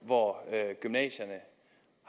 hvor gymnasierne